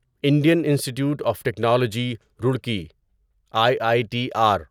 Indian Institute of Technology Roorkee I I T are